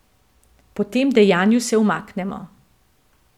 Po tem dejanju se umaknemo.